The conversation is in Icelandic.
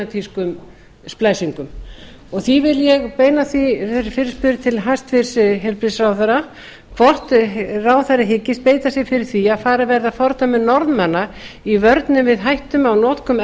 með genatískum splæsingum því vil ég beina þessari fyrirspurn til hæstvirts heilbrigðisráðherra hvort ráðherra hyggist beita sér fyrir því að farið verði að fordæmi norðmanna í vörnum við hættum á notkun